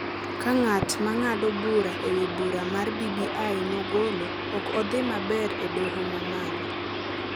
ka ng’at ma ng’ado bura e wi bura mar BBI nogolo ok odhi maber e Doho ma malo.